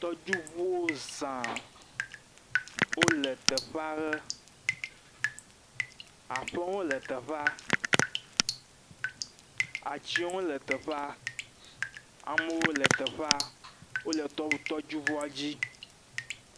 Tɔdziŋuwo zãa, wole teƒea ʋe. Aƒewo hã le teƒea, atsiwo hã wole teƒea, amewo le teƒea, wole tɔŋu. tɔdziŋua dzi.